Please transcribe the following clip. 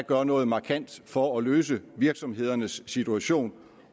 gør noget markant for at løse virksomhedernes situation